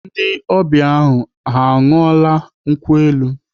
Ndị ọbịa ahụ ahu aṅụọla nkwụ elu?